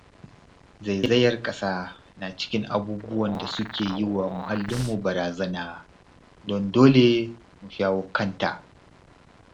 Zaizayar ƙasa na cikin abubuwan da suke yi wa muahallinmu barazana, don dole mu shawo kanta.